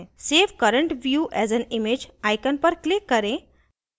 save current view as an image icon पर click करें